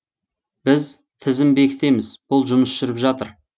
біз тізім бекітеміз бұл жұмыс жүріп жатыр